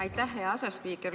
Aitäh, hea asespiiker!